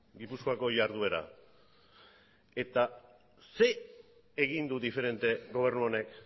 gipuzkoako jarduera eta zer egin du diferente gobernu honek